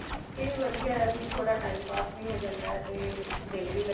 ਤੇ ਵਧੀਆ ਵੀ ਥੋੜਾ time ਪਾਸ ਵੀ ਹੋ ਜਾਂਦਾ ਤੇ ਦਿਲ ਵੀ